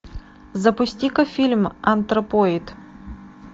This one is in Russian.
запусти ка фильм антропоид